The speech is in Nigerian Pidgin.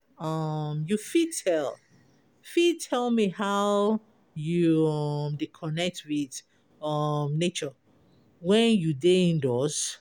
um You fit tell fit tell me how you um dey connect with um nature when you dey indoors?